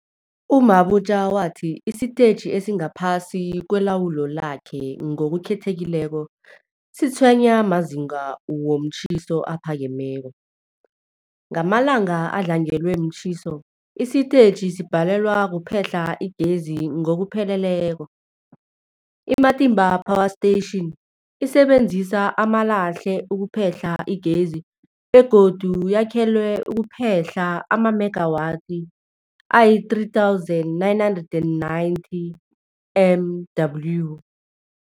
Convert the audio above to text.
U-Mabotja wathi isitetjhi esingaphasi kwelawulo lakhe, ngokukhethekileko, sitshwenywa mazinga womtjhiso aphakemeko. Ngamalanga adlangelwe mtjhiso, isitetjhi sibhalelwa kuphehla igezi ngokupheleleko. I-Matimba Power Station isebenzisa amalahle ukuphehla igezi begodu yakhelwe ukuphehla amamegawathi azii-3990 MW.